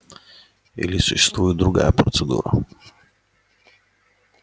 или существует другая процедура